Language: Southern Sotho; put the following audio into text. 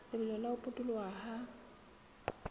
lebelo la ho potoloha ha